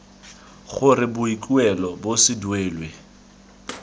gore boikuelo bo se duelwe